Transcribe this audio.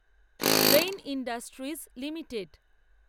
rain industries limited